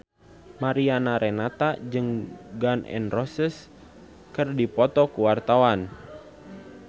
Mariana Renata jeung Gun N Roses keur dipoto ku wartawan